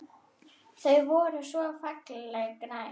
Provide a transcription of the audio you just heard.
Þau voru svona fallega græn!